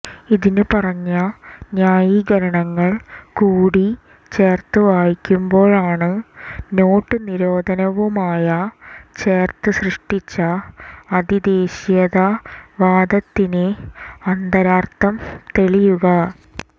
ഇതിന് പറഞ്ഞ ന്യായീകരണങ്ങൾ കൂടി ചേർത്തു വായിക്കുമ്പോഴാണ് നോട്ട് നിരോധനവുമായ ചേർത്ത് സൃഷ്ടിച്ച അതി ദേശീയതാ വാദത്തിന്രെ അന്താരർത്ഥം തെളിയുക